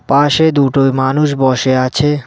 পাশে দুটোই মানুষ বসে আছে।